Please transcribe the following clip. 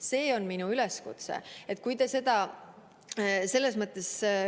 See on minu üleskutse.